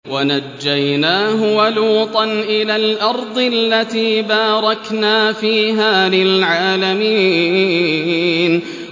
وَنَجَّيْنَاهُ وَلُوطًا إِلَى الْأَرْضِ الَّتِي بَارَكْنَا فِيهَا لِلْعَالَمِينَ